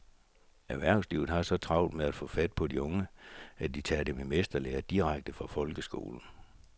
Erhvervslivet har så travlt med at få fat på de unge, at de tager dem i mesterlære direkte fra folkeskolen.